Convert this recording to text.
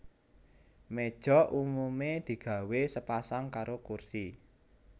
Méja umumé digawé sepasang karo kursi